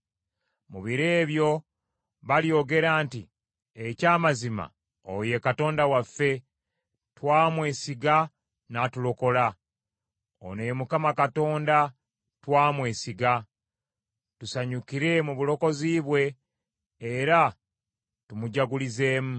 Mu biro ebyo balyogera nti, “Eky’amazima oyo ye Katonda waffe; twamwesiga n’atulokola. Ono ye Mukama Katonda twamwesiga; tusanyukire mu bulokozi bwe, era tumujagulizeemu.”